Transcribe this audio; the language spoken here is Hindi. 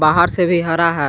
बाहर से भी हरा है।